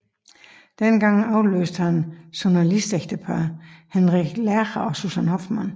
Denne gang afløst han journalistægteparret Henrik Lerche og Susan Hoffmann